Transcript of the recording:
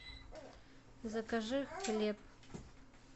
закажи хлеб